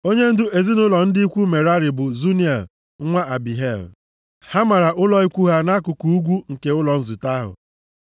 Onyendu ezinaụlọ ndị ikwu Merari bụ Zuniel nwa Abihail. Ha mara ụlọ ikwu ha nʼakụkụ ugwu nke ụlọ nzute ahụ.